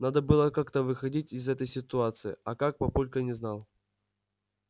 надо было как-то выходить из этой ситуации а как папулька не знал